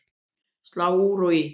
Slá úr og í